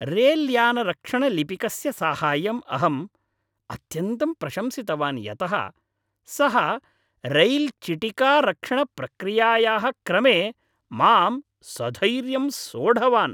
रेल्यानारक्षणलिपिकस्य साहाय्यम् अहं अत्यन्तं प्रशंसितवान् यतः सः रैल् चिटिकारक्षणप्रक्रियायाः क्रमे मां सधैर्यं सोढवान्।